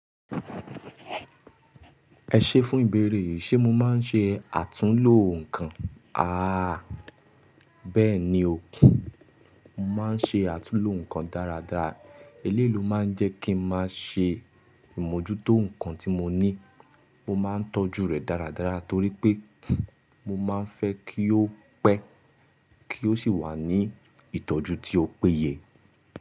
Ẹ ṣé fún ìbéèrè, ṣé mo máa ń ṣe àtúnlo nǹkan? Aà bẹ́ẹ̀ni ò, mo máa ń ṣe àtúnlo nǹkan dáradára. Eleyii máa ń jẹ́ kí n máa ṣe ìmójútó nǹkan tí mo ní. Mo máa ń tọ́jú rẹ̀ dáradára torí pé mo máa ń fẹ́ kí ó pẹ́ kí ó sì wà ní ìtọ́jú tí ó péye.